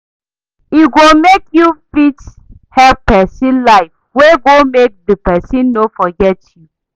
E go mek yu fit help pesin life wey go mek di pesin no forget yu